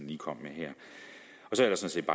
lige kom med her så